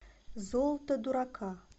золото дурака